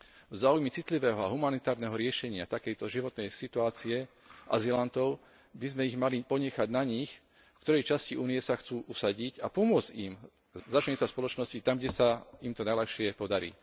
V záujme citlivého a humanitárneho riešenia takejto životnej situácie azylantov by sme mali ponechať na nich, v ktorej časti Únie sa chcú usadiť, a pomôcť im začleniť sa v spoločnosti tam, kde sa im to najľahšie podarí.